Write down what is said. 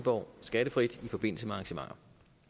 for at skattefrit i forbindelse med arrangementer